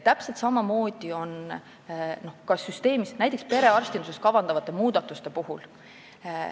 Täpselt samamoodi on ka näiteks perearstinduses kavandatavate muudatustega.